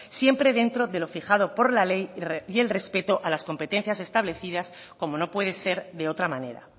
siempre dentro de lo fijado por la ley y el respeto a las competencias establecidas como no puede ser de otra manera